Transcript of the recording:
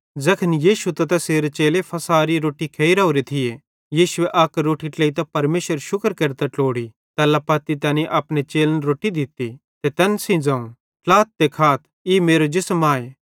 ज़ैखन यीशु त तैसेरे चेले फ़सहेरी रोट्टी खेइ राओरे थिये यीशुए अक रोट्टी ट्लेइतां परमेशरेरू शुक्र केरतां ट्लोड़ी तैल्ला पत्ती तैनी तै अपने चेलन दित्ती ते तैन सेइं ज़ोवं ट्लाथ ते खाथ ई मेरो जिसम आए